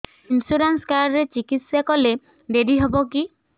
insurance card ରେ ଚିକିତ୍ସା କଲେ ଡେରି ହବକି